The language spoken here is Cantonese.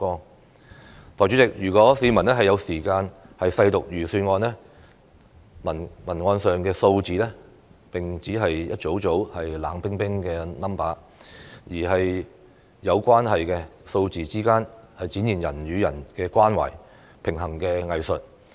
代理主席，如果市民有時間細讀預算案，所臚列的數字並不是一組組冷冰冰的數字，而是有關係的，數字之間展現人與人的關懷和平衡的藝術。